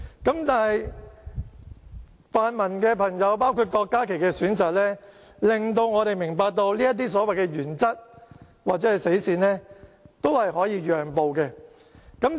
但是，泛民朋友，包括郭家麒議員的選擇，令我們明白到就這些所謂原則或死線，都是可以讓步的。